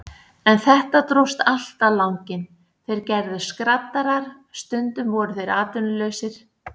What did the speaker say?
En þetta dróst allt á langinn, þeir gerðust skraddarar, stundum voru þeir atvinnulausir.